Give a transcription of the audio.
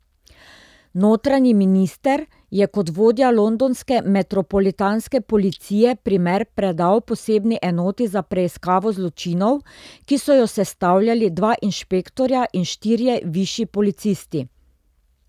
Notranji minister je kot vodja londonske metropolitanske policije primer predal posebni enoti za preiskavo zločinov, ki so jo sestavljali dva inšpektorja in štirje višji policisti.